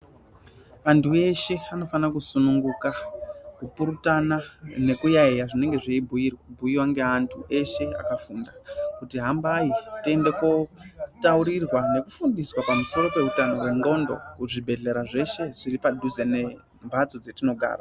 Antu eshe anofana kusununguka, kupurutana nekuyaiya zvinenge zveibhuyiwa ngeantu eshe akafunda, kuti hambai tiende kotaurirwa nekufundiswa pamusoro peutano hwendxondo kuzvibhedhlera zveshe zviri padhuze nembatso dzetinogara.